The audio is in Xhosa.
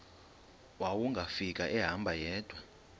wawungafika ehamba yedwa